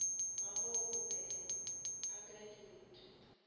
gagwe o be a graduata